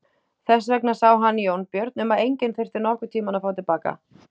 Þess vegna sá hann Jónbjörn um að enginn þyrfti nokkurn tíma að fá til baka.